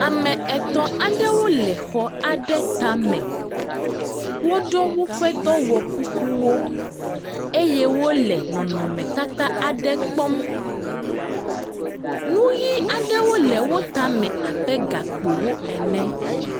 Ame etɔ̃ aɖewo le exɔ aɖe tame, woɖɔ woƒe dɔwɔkukuwo eye wole nɔnɔmetata aɖe kpɔm, nu ʋi aɖewo le wo tame abe gakpo ene.